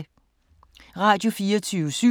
Radio24syv